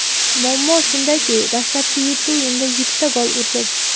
Muammo shundaki, dastlabki yetti o‘yinda yettita gol urdim.